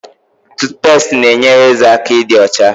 Tutupesti na enyere ézè aka ịdị ocha